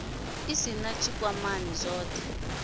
u sin a tshikwamani zwothe